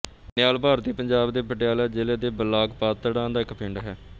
ਨਿਆਲ ਭਾਰਤੀ ਪੰਜਾਬ ਦੇ ਪਟਿਆਲਾ ਜ਼ਿਲ੍ਹੇ ਦੇ ਬਲਾਕ ਪਾਤੜਾਂ ਦਾ ਇੱਕ ਪਿੰਡ ਹੈ